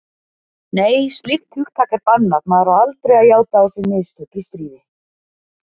Nei, slíkt hugtak er bannað, maður á aldrei að játa á sig mistök í stríði.